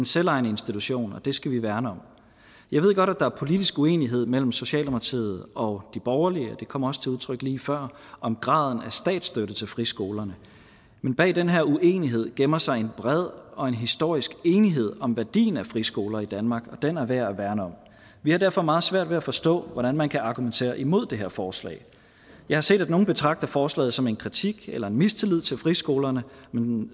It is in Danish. selvejende institution og det skal vi værne om jeg ved godt at der er politisk uenighed mellem socialdemokratiet og de borgerlige og det kom også til udtryk lige før om graden af statsstøtte til friskolerne men bag den her uenighed gemmer sig en bred og en historisk enighed om værdien af friskoler i danmark og den er værd at værne om vi har derfor meget svært ved at forstå hvordan man kan argumentere imod det her forslag jeg har set at nogle betragter forslaget som en kritik af eller en mistillid til friskolerne men